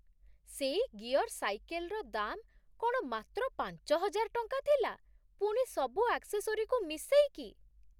ସେଇ ଗିୟର୍ ସାଇକେଲ୍‌ର ଦାମ୍ କ'ଣ ମାତ୍ର ପାଞ୍ଚହଜାର ଟଙ୍କା ଥିଲା, ପୁଣି ସବୁ ଆକ୍ସେସୋରିକୁ ମିଶେଇକି!